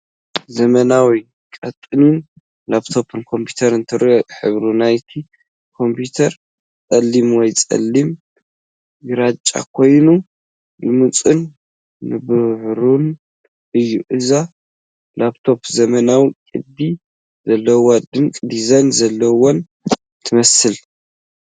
ዘመናውን ቀጢንን ፣ ላፕቶፕ ኮምፒተር ትረአ፣ ሕብሪ ናይታ ኮምፒተር ጸሊም ወይ ጸሊም ግራጭ ኮይኑ ልሙጽን ንብሩህን እዩ። እዛ ላፕቶፕ ዘመናዊት፡ ቅዲ ዘለዋን ድንቂ ዲዛይን ዘለዋን ትመስል።